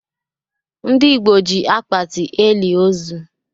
Ndị Igbo ji akpati elị ozu.